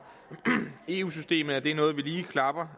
eu systemet er noget vi klapper